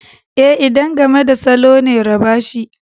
E, idan game da salo ne raba shi.